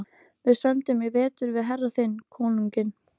Við sömdum í vetur við herra þinn konunginn.